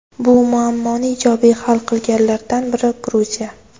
Bu muammoni ijobiy hal qilganlardan biri Gruziya.